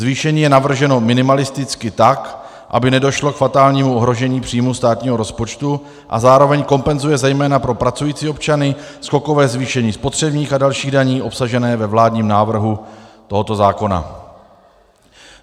Zvýšení je navrženo minimalisticky, tak aby nedošlo k fatálnímu ohrožení příjmů státního rozpočtu, a zároveň kompenzuje zejména pro pracující občany skokové zvýšení spotřebních a dalších daní obsažených ve vládním návrhu tohoto zákona.